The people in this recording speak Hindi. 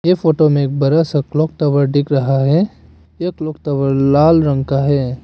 ये फोटो में एक बरा सा क्लॉक टॉवर दिख रहा है यह क्लॉक टॉवर लाल रंग का है।